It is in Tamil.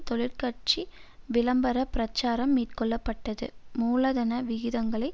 தொலைக்காட்சி விளம்பர பிரச்சாரம் மேற்கொள்ள பட்டது மூலதன விகிதங்களை